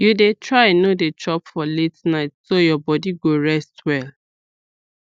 you dey try no dey chop for late night so your body go rest well